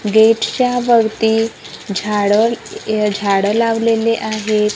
गेटच्या भवती झाडं य झाडं लावलेले आहे.